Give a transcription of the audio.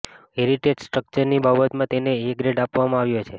heritage સ્ટ્રક્ચરની બાબતમાં તેને એ ગ્રેડ આપવામાં આવ્યો છે